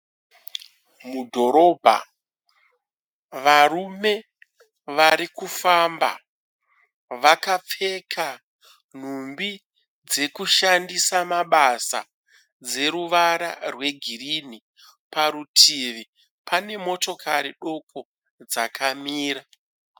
Mudhorobha, varume varikufamba vakapfeka nhumbi dzekushandisa mabasa, dzeruvara rwegirinhi. Parutivi panemotokari doko dzakamira.